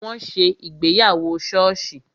Wọn ṣe ìgbéyàwó soosi